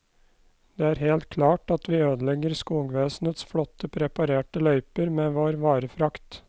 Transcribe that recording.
Det er helt klart at vi ødelegger skogvesenets flotte preparerte løyper med vår varefrakt.